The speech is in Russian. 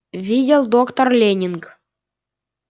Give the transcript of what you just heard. видели доктор лэннинг